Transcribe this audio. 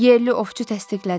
Yerli ovçu təsdiqlədi.